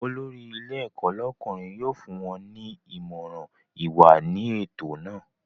Olórí ilé ẹ̀kọ́ lọ́kùnrin yóò fún wọ́n ní Ìmọ̀ràn ìwà ní ètò naa